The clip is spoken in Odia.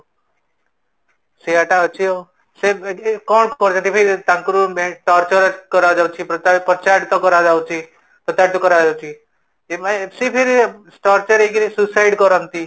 ସେଇୟାଟା ଅଛି ଆଉ ସେ ଏଠି କ'ଣ କରଉଛନ୍ତି ଭାଇ ତାଙ୍କୁ torture କରାଯାଉଛି ପ୍ରତାରିତ କରା ଯାଉଛି ପ୍ରତାରିତ କର ଯାଉଛି ସେ ଫିର torture ହେଇକି suicide କରନ୍ତି